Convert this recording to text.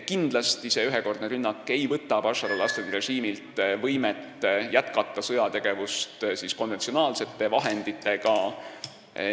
Kindlasti ei võta see ühekordne rünnak Bashar al-Assadi režiimilt võimet jätkata sõjategevust konventsionaalsete vahenditega.